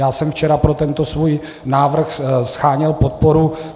Já jsem včera pro tento svůj návrh sháněl podporu.